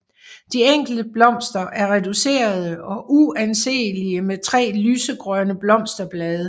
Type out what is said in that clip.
De enkelte blomster er reducerede og uanselige med 3 lysegrønne blosterblade